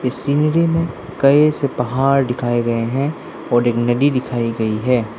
इस सीनरी में कई से पहाड़ दिखाए गए हैं और एक नदी दिखाई गई है।